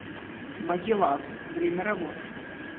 магеллан время работы